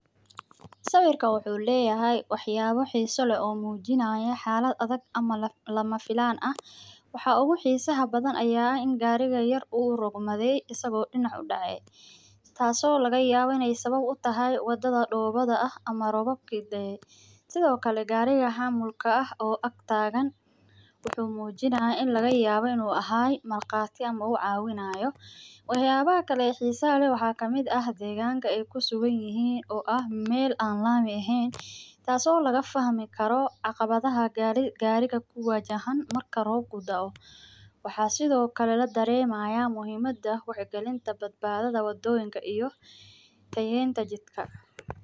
Sawiraan wuxuu leyahay wax yaabo xiisa leh oo lama filan ah, wax yaabaha xiisa leh waxa waye gaari yar oo dacay, oo aay keeni karto roob, waxa kale garab taagan gaari weyn oo mujinaaya marqaati, ama uu cawinaayo, deeganka aay kusugan yihiin, taas oo laga fahmi karo caqabada gaariga, iyo tayeenta jidka.